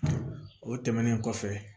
O tɛmɛnen kɔfɛ